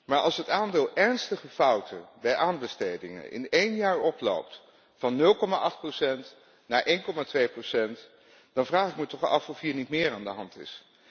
Maar als het aandeel ernstige fouten bij aanbestedingen in één jaar oploopt van 0,8 procent naar 1,2 procent, dan vraag ik me toch af of hier niet meer aan de hand is.